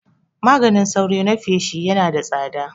Maganin sauro na feshi Yana da tsada